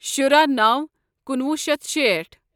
شُراہ نوَ کُنوُہ شیتھ شیٹھ